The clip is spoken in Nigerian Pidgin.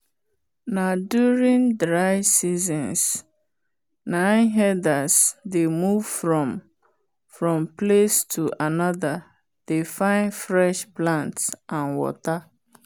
na during dey seasons na herders dey move from from place to another dey fine fresh plants and water